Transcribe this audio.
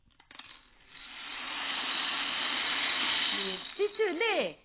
എത്തിച്ചു അല്ലെ